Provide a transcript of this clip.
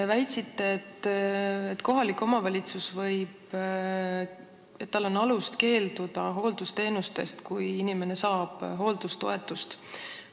Te väitsite, et kohalikul omavalitsusel on alust keelduda hooldusteenuste osutamisest, kui inimene saab hooldajatoetust.